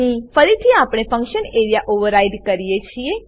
અહીં ફરીથી આપણે ફંક્શન એરિયા ઓવરરાઈડ કરીએ છીએ